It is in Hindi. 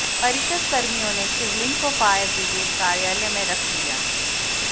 परिषद कर्मियों ने शिवलिंग को फायर ब्रिगेड कार्यालय में रख दिया